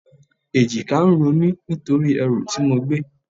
Èjìká ń ro mí nítorí ẹrù tí mo gbé.